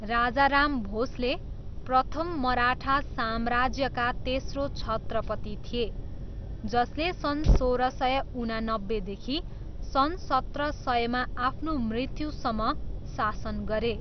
राजाराम भोस्ले प्रथम मराठा साम्राज्यका तेस्रो छत्रपति थिए, जसले सन् सोह्र सय उनानब्बेदेखि सन् सत्र सयमा आफ्नो मृत्युसम्म शासन गरे।